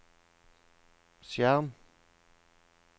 skjerm